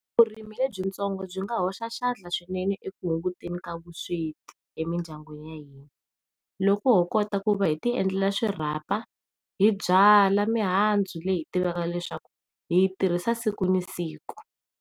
Vurimi le byi ntsongo byi nga hoxa xandla swinene eku hunguteni ka vusweti emindyangu loko hokota ku va hiti endlela xirapha hi byala mihandzu leyi hi tivaka leswaku hi yi tirhisa siku na siku.